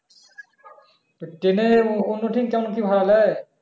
তো train অন্য train এ কেমন কি ভাড়া নেয়?